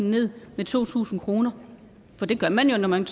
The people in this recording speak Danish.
ned med to tusind kr for det gør man jo når man